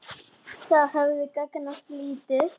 Það hefði gagnast lítið.